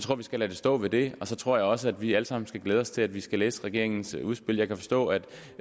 at vi skal lade det stå ved det og så tror jeg også at vi alle sammen skal glæde os til at vi skal læse regeringens udspil jeg kan forstå at